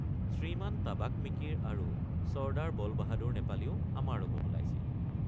শ্ৰীমান টাবাক মিকিৰ আৰু ছৰ্দাৰ বলবাহাদুৰ নেপালীও আমাৰ লগত ওলাইছিল।